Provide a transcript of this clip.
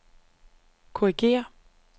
korrigér